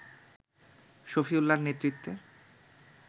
শফিউল্লাহর নেতৃত্বে